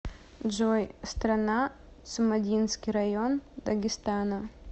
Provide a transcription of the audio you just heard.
джой страна цумадинский район дагестана